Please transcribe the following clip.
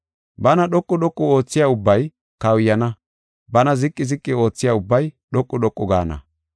Bana dhoqu dhoqu oothiya ubbay kawuyana; bana ziqi ziqi oothiya ubbay dhoqu dhoqu gaana.”